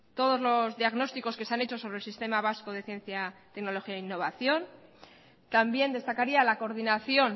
todos los diagnósticos que se han hecho sobre el sistema vasco de ciencia tecnología e innovación también destacaría la coordinación